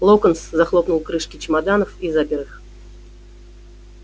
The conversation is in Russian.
локонс захлопнул крышки чемоданов и запер их